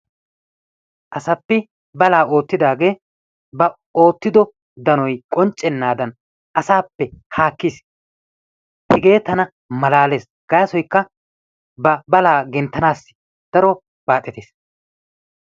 Asapi balaa oottidaagee ba oottiddo danoy qonccenaadan asappe haakkees. Hegee tana malaallees, gaasoykka ba balaa genttanaassi daro baaxettiis.